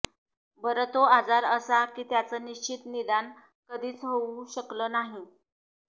बरं तो आजार असा की त्याचं निश्चित निदान कधीच होऊ शकलं नाही